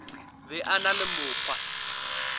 be a na le mokgwa